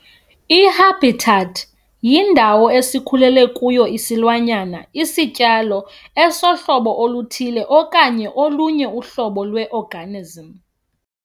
I-habitat yindawo esikhulele kuyo isilwanyana, isityalo, osohlobo oluthile, okanye olunye uhlobo lwe-organism.